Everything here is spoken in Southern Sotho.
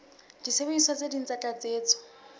disebediswa tse ding tsa tlatsetso